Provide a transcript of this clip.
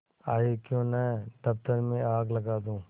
आयीक्यों न दफ्तर में आग लगा दूँ